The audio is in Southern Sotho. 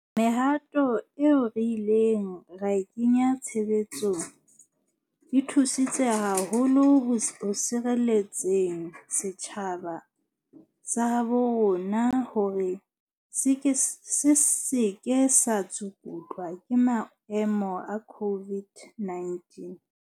Mehato eo re ileng ra e kenya tshebetsong e thusi tse haholo ho sireletseng setjhaba sa habo rona hore se se ke sa tsukutlwa ke maemo a COVID-19.